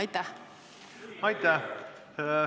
Aitäh!